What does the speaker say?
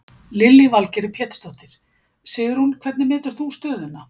Lillý Valgerður Pétursdóttir: Sigrún hvernig metur þú stöðuna?